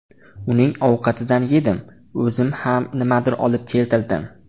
Uning ovqatidan yedim, o‘zim ham nimadir olib keltirdim.